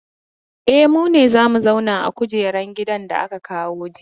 E, mu ne za mu zauna a kujeran gidan da aka kawo jiya.